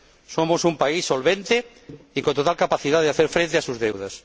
Somos un país solvente y con total capacidad para hacer frente a sus deudas.